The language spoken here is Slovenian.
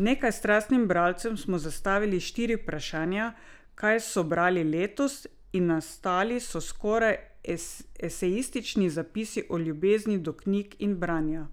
Nekaj strastnim bralcem smo zastavili štiri vprašanja, kaj so brali letos, in nastali so skoraj esejistični zapisi o ljubezni do knjig in branja.